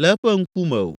le eƒe ŋkume o,